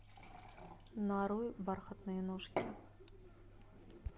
нарой бархатные ножки